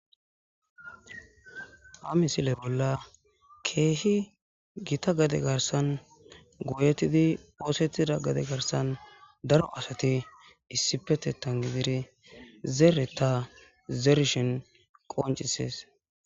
a misiley bolla keehi gita gade garsan gooyetidi poosettida gade garsan daro asati issipetetan gidire zeere ta zerishen qoncises